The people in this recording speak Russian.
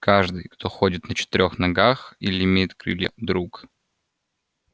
каждый кто ходит на четырёх ногах или имеет крылья друг